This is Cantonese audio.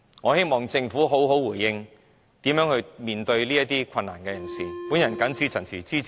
我希望政府能好好回應，如何面對這些有困難的人士......